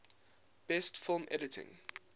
best film editing